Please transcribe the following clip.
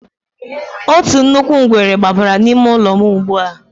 Otu nnukwu ngwere gbabara n'ime ụlọ m ugbu a.